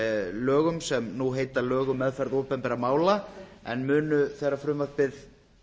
lögum sem nú heita lög um meðferð opinberra mála en munu þegar frumvarpið